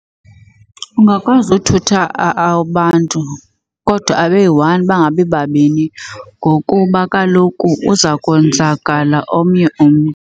Ungakwazi uthutha abantu kodwa abe yi-one bangabi babini ngokuba kaloku uza konzakala omnye umntu.